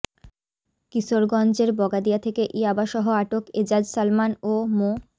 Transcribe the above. কিশোরগঞ্জের বগাদিয়া থেকে ইয়াবাসহ আটক এজাজ সালমান ও মো